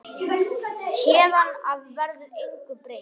Héðan af verður engu breytt.